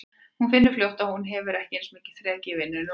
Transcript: Hún finnur fljótt að hún hefur ekki eins mikið þrek í vinnunni og áður.